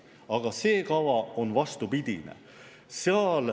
Aga see kava on vastupidine.